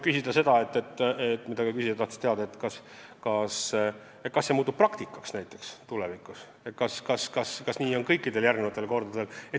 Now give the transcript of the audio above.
Küsija tahtis teada, kas see praktika saab tulevikus tavaliseks, kas nii on ka kõikidel järgmistel kordadel.